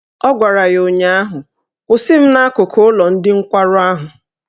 Ọ gwara ya ụnyaahụ " Kwụsị m n'akụkụ ụlọ ndị nkwarụ ahụ!